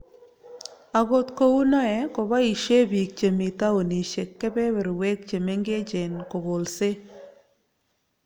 Akot kou noe, ko boisien biik chemi taunisiek kebeberwek chemengechen kokolse